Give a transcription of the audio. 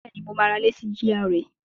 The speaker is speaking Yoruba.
Bẹ́ẹ̀ni, mo máa ra ilé sí GRA